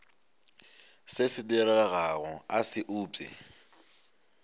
se diregago a se upše